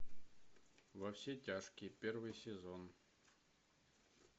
во все тяжкие первый сезон